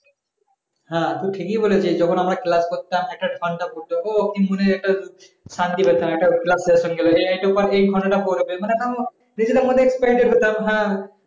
হ্যাঁ তো ঠিকই বলেছিস যখন আমরা class করতাম একটা ঘন্টা পড়তো ও কি মনে একটা শান্তি পেতাম একটা class শেষ হয়ে গেল আবার একটু পর একটা এই ঘন্টাটা পড়বে, মানে একটাও নিজেদের মনে